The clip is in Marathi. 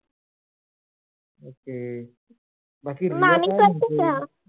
ok बाकी रिया काय म्हणते? मामी करते काय?